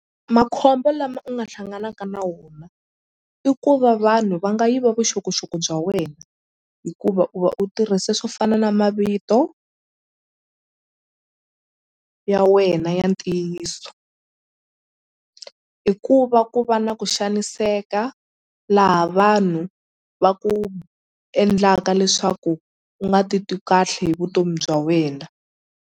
Makhombo lama u nga hlanganaka na wona i ku va vanhu va nga yiva vuxokoxoko bya wena hikuva u va u tirhise swo fana na mavito ya wena ya ntiyiso i ku va ku va na ku xaniseka laha vanhu va ku endlaka leswaku u nga ti twi kahle hi vutomi bya wena.